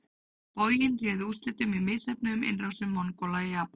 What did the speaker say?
Boginn réði úrslitum í misheppnuðum innrásum Mongóla í Japan.